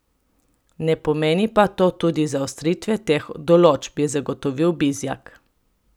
Ne pomeni pa to tudi zaostritve teh določb, je zagotovil Bizjak.